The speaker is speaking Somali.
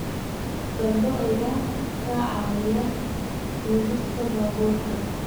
Fardo ayaa ka caawiya jiidista baabuurta.